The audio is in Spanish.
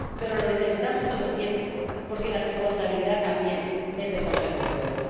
Pero lo necesitamos todo el tiempo, porque la responsabilidad también es del Consejo Europeo.